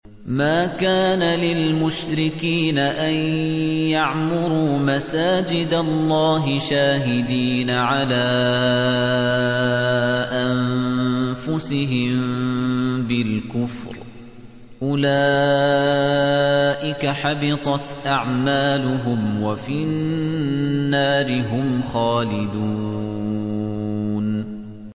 مَا كَانَ لِلْمُشْرِكِينَ أَن يَعْمُرُوا مَسَاجِدَ اللَّهِ شَاهِدِينَ عَلَىٰ أَنفُسِهِم بِالْكُفْرِ ۚ أُولَٰئِكَ حَبِطَتْ أَعْمَالُهُمْ وَفِي النَّارِ هُمْ خَالِدُونَ